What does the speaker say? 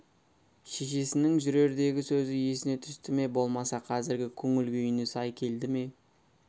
шешесінің жүрердегі сөзі есіне түсті ме болмаса қазіргі көңіл күйіне сай келді ме